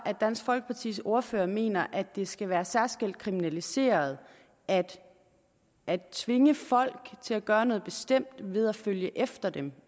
at dansk folkepartis ordfører mener det skal være særskilt kriminaliseret at tvinge folk til at gøre noget bestemt ved at følge efter dem